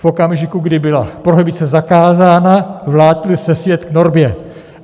V okamžiku, kdy byla prohibice zakázána, vrátil se svět k normě.